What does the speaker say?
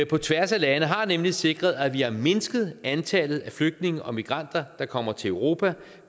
på tværs af lande har nemlig sikret at vi har mindsket antallet af flygtninge og migranter der kommer til europa